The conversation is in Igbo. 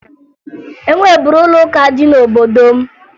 E nweburu ụlọụka dị n'obodo m